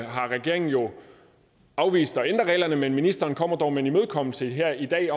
har regeringen jo afvist at ændre reglerne men ministeren kommer dog med en imødekommelse her i dag